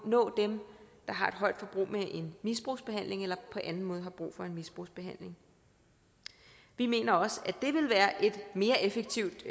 nå dem der har et højt forbrug med en misbrugsbehandling og dem på anden måde har brug for en misbrugsbehandling vi mener også at mere effektivt